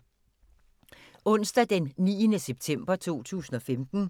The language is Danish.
Onsdag d. 9. september 2015